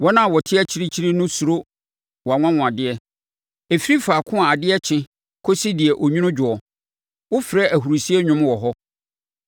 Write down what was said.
Wɔn a wɔte akyirikyiri no suro wʼanwanwadeɛ. Ɛfiri faako a adeɛ kye kɔsi deɛ onwunu dwoɔ, wofrɛ ahurisie nnwom wɔ hɔ.